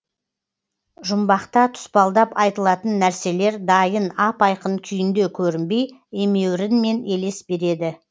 жұмбақта тұспалдап айтылатын нәрселер дайын ап айқын күйінде көрінбей емеурінмен елес береді